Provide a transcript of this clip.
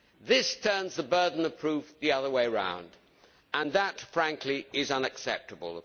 This turns the burden of proof the other way round, and that, frankly, is unacceptable.